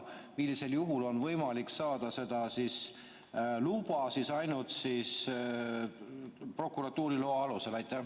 Millisel juhul on võimalik saada seda luba ainult prokuratuuri loa alusel?